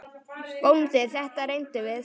BÓNDI: Þetta reyndum við!